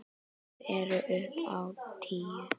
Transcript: Þær eru upp á tíu.